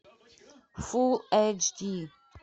фулл эйч ди